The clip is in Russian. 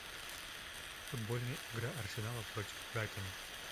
футбольная игра арсенала против брайтона